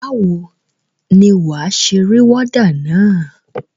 Báwo ni wà á ṣe rí wọ́dà na?